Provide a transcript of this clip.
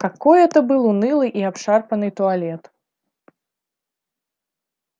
какой это был унылый и обшарпанный туалет